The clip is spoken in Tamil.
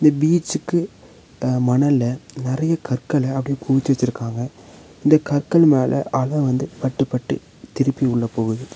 பீச்சுக்கு அ மணல்ல நெறைய கற்கள அப்படியே குவிச்சு வச்சிருக்காங்க இந்த கற்கள் மேல அல வந்து பட்டு பட்டு திருப்பி உள்ள போகுது.